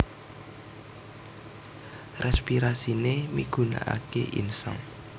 Respirasiné migunakaké insang